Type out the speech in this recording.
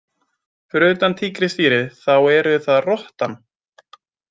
Fyrir utan tígrisdýrið þá eru það rottan.